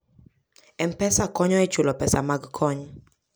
M-Pesa konyo e chulo pesa mag kony.